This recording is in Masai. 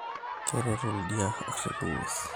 Keret oldia arip inguesin